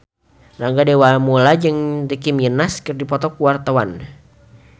Rangga Dewamoela jeung Nicky Minaj keur dipoto ku wartawan